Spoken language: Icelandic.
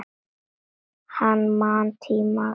Hann man tímana tvenna.